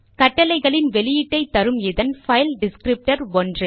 கட்டளைகளின் வெளியீட்டை தரும் இதன் பைல் டிஸ்க்ரிப்டர் 1